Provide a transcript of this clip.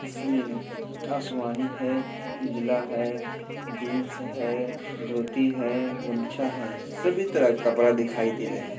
इसमें आसमानी है उजला है जिंस है धोती है गमछा है सभी तरह के कपड़ा दिखाई दे रहे है।